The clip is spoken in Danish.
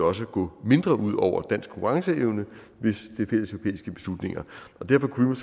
også gå mindre ud over dansk konkurrenceevne hvis det er fælleseuropæiske beslutninger derfor kunne